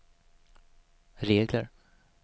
regler